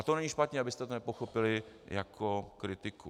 A to není špatně, abyste to nepochopili jako kritiku.